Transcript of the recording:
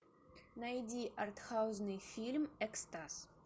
найди артхаусный фильм экстаз